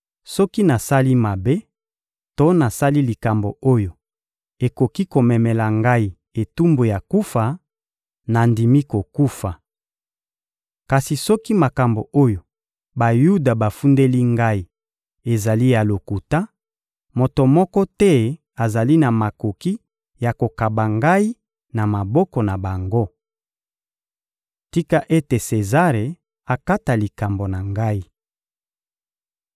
Soki nasali mabe to nasali likambo oyo ekoki komemela ngai etumbu ya kufa, nandimi kokufa. Kasi soki makambo oyo Bayuda bafundeli ngai ezali ya lokuta, moto moko te azali na makoki ya kokaba ngai na maboko na bango. Tika ete Sezare akata likambo na ngai!